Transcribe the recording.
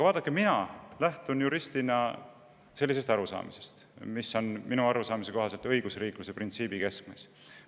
Vaadake, mina juristina lähtun sellest arusaamast, mis minu arusaamise kohaselt on õigusriikluse printsiibi keskmes.